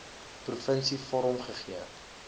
provinsie vorm gegee